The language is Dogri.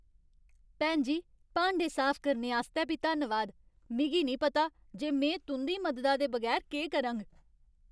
भैन जी, भांडे साफ करने आस्तै बी धन्नवाद । मिगी नेईं पता जे में तुं'दी मददा दे बगैर केह् करङ।